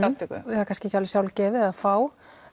það er kannski ekki alveg sjálfgefið að fá